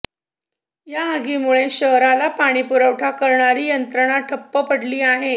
या आगीमुळे शहराला पाणी पुरवठा करणारी यंत्रणाच ठप्प पडली आहे